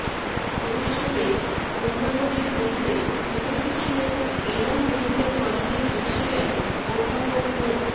অনুষ্ঠানে অন্যান্যদের মধ্যে উপস্থিত ছিলেন এনাম মেডিকেল কলেজের প্রিন্সিপ্যাল অধ্যাপক মো